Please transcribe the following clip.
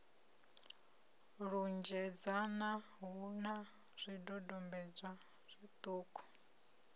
lunzhedzana hu na zwidodombedzwa zwiṱuku